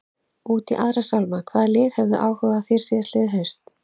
Út í aðra sálma, hvaða lið höfðu áhuga á þér síðastliðið haust?